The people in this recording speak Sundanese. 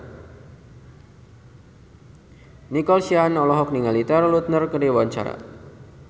Nico Siahaan olohok ningali Taylor Lautner keur diwawancara